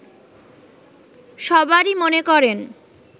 সবারই মনে করেন